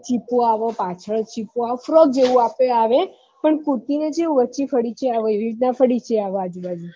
ચીપો આવે પાછલ ચીપો આવે forg જેવું આપડે આવે પણ કુર્તી ને ચેવું હોય ચેવી ફડીકી એવી રીત ના ફડીકી આવે આજુબાજુ